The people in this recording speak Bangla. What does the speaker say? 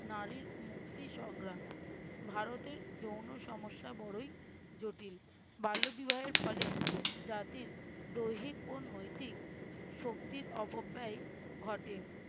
নারীর মুক্তি সংগ্রাম। ভারতের যৌন সমস্যা বড়ই জটিল। বাল্য বিবাহের ফলে জাতির দৈহিক ও নৈতিক শক্তির অপব্যয় ঘটে।